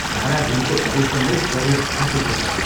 सारा दिनको परिश्रमले शरीर थाकेको छ।